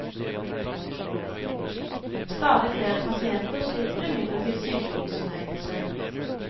Stadig flere pasienter slipper imidlertid sykehusinnleggelse.